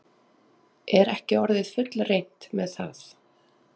Er ekki orðið fullreynt með það?